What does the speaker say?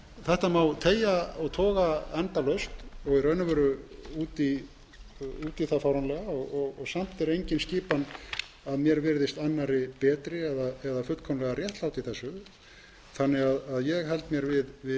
þetta má teygja og toga endalaust og í raun og veru út í það fáránlega og samt er engin skipan að mér virði annarri betri eða fullkomlega réttlát í þessu ég held mér því